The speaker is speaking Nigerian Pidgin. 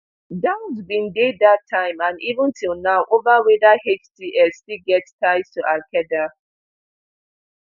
doubts bin dey dat time and even till now ova weda hts still get ties to alqaeda